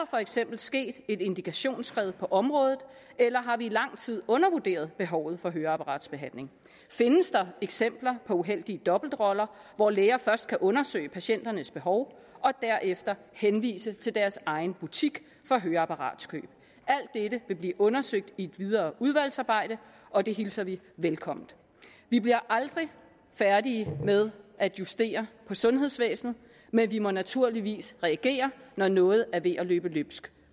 for eksempel sket et indikationsskred på området eller har vi i lang tid undervurderet behovet for høreapparatbehandling findes der eksempler på uheldige dobbeltroller hvor læger først kan undersøge patienternes behov og derefter henvise til deres egen butik for høreapparatskøb alt dette vil blive undersøgt i et videre udvalgsarbejde og det hilser vi velkommen vi bliver aldrig færdige med at justere på sundhedsvæsenet men vi må naturligvis reagere når noget er ved at løbe løbsk